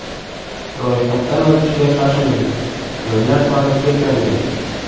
Ro‘yhatdan o‘tishga shoshiling, joylar soni cheklangan!